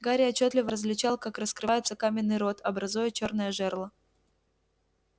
гарри отчётливо различал как раскрывается каменный рот образуя чёрное жерло